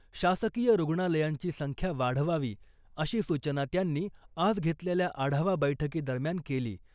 शासकीय रुग्णालयांची संख्या वाढवावी , अशी सूचना त्यांनी आज घेतलेल्या आढावा बैठकी दरम्यान केली .